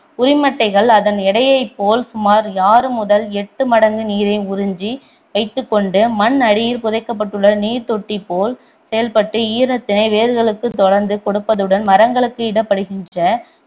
உரிமட்டைகள் அதன் எடையைப் போல் சுமார் ஆறு முதல் எட்டு மடங்கு நீரை உறிஞ்சி வைத்துக்கொண்டு மண் அடியில் புதைக்கப்பட்டுள்ள நீர் தொட்டி போல் செயல்பட்டு ஈரத்தினை வேர்களுக்கு தொடர்ந்து கொடுகப்பதுடன் மரங்களுக்கு இடப்படுகின்ற